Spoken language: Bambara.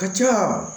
Ka ca